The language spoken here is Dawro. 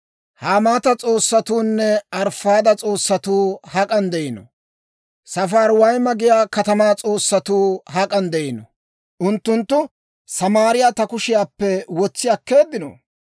Hamaata s'oossatuunne Arifaada s'oossatuu hak'an de'iino? Safariwayma giyaa katamaa s'oossatuu hak'an de'iino? Unttunttu Samaariyaa ta kushiyaappe wotsi akkeeddino?